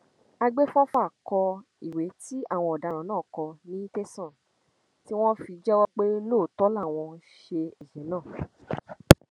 àgbẹfọfà kọ ìwé tí àwọn ọdaràn náà kọ ní tẹsán tí wọn fi jẹwọ pé lóòótọ làwọn ṣe ẹsẹ náà